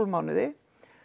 mánuði